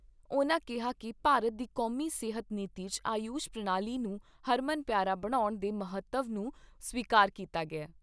ਉਨ੍ਹਾਂ ਕਿਹਾ ਕਿ ਭਾਰਤ ਦੀ ਕੌਮੀ ਸਿਹਤ ਨੀਤੀ 'ਚ ਆਯੂਸ਼ ਪ੍ਰਣਾਲੀ ਨੂੰ ਹਰਮਨ ਪਿਆਰਾ ਬਣਾਉਣ ਦੇ ਮਹੱਤਵ ਨੂੰ ਸਵੀਕਾਰ ਕੀਤਾ ਗਿਆ ।